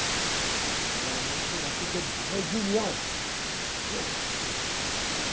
Então, eu ia ensinar o quê que é, eh.